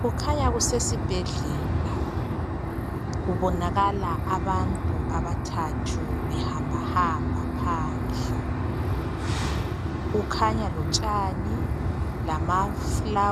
Kukhanya kusesibhedlela. Kubonakala abantu abathathu behambahamba phandle. Kulotshani lamaluba